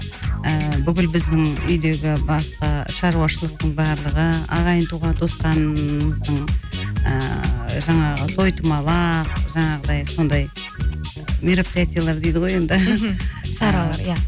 ііі бүкіл біздің үйдегі басқа шаруашылықтың барлығы ағайын туған туысқанымыздың ыыы жаңағы той томалақ жаңағыдай сондай мероприятиялар дейді ғой енді мхм шаралар иә